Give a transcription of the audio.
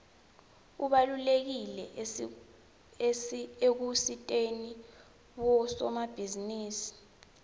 ubalulekile ekusiteni bosomabhizinisi